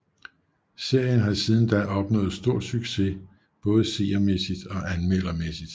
Serien har siden da opnået stor succes både seermæssigt og anmeldermæssigt